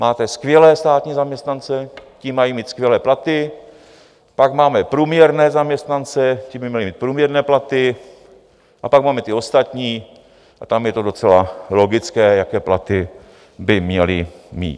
Máte skvělé státní zaměstnance, ti mají mít skvělé platy, pak máme průměrné zaměstnance, ti by měli mít průměrné platy, a pak máme ty ostatní a tam je to docela logické, jaké platy by měli mít.